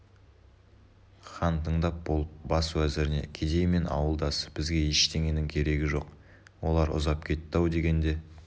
хан тыңдап болып бас уәзіріне кедей мен ауылдасы бізге ештеңенің керегі жоқ олар ұзап кетті-ау дегенде